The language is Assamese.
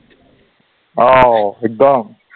অঔ, একদম